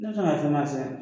Ne bɛ se k'a f'i ma